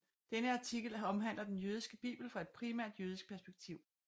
Denne artikel omhandler den jødiske bibel fra et primært jødisk perspektiv